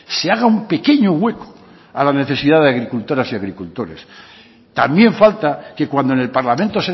se haga un pequeño hueco a la necesidad de agricultoras y agricultores también falta que cuando en el parlamento